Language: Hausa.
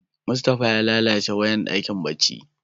Mustapha ya lallace wayan dakin barci.